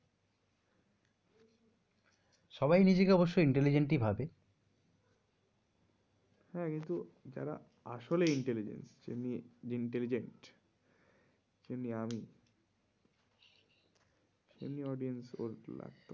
সবাই নিজেকে অবশ্য intelligent ই ভাবে হ্যাঁ কিন্তু যারা আসলেই intelligent যেমনি আমি তেমনি audience ওর লাগতো।